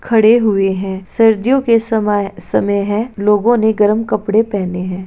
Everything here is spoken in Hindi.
खड़े हुए हैं सर्दियों के सवाय समय है। लोगों ने गरम कपड़े पहने हैं।